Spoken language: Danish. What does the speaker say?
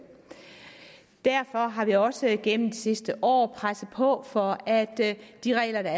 derfor har vi også igennem det sidste år presset på for at de regler der